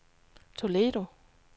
Toledo